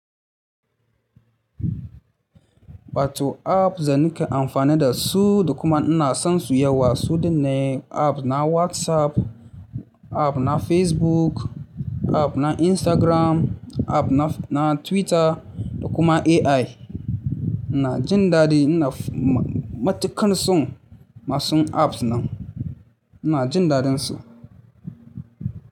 Wato apps da nake amfani da su da kuma ina son su yawa su din ne app na WhatsApp, app na Facebook, app na Instagram, app na Twitter da kuma AI. Ina jin daɗi, ina matuƙan son masu apps nan, ina jin daɗin su.